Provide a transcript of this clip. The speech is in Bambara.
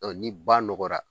Ɔ ni ba nɔgɔra